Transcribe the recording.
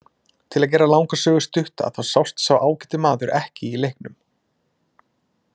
Til að gera langa sögu stutta þá sást sá ágæti maður ekki í leiknum.